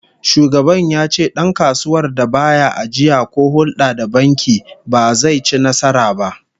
Shugaban ya ce dankasuwar da ba ya ajiya ko hulda da banki ba, ba zai ci nasara ba